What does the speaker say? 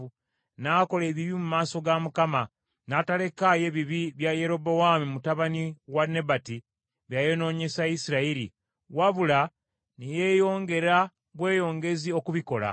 N’akola ebibi mu maaso ga Mukama , n’atalekaayo ebibi bya Yerobowaamu mutabani wa Nebati, bye yayonoonyesa Isirayiri, wabula ne yeeyongera bweyongezi okubikola.